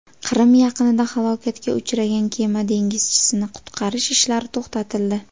Qrim yaqinida halokatga uchragan kema dengizchisini qutqarish ishlari to‘xtatildi.